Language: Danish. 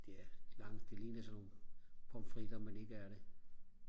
der lange det ligner sådan nogle pommes frites men ikke er det